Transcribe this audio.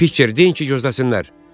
Piçer deyin ki, gözləsinlər.